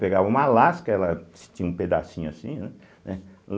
Pegavam uma lasca, ela tinha um pedacinho assim, né? né